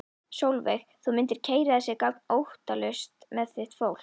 Sólveig: Þú mundir keyra þessi göng óttalaus með þitt fólk?